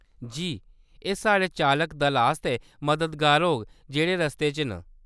जी, एह्‌‌ साढ़े चालक दल आस्तै मददगार होग जेह्‌‌ड़े रस्ते च न।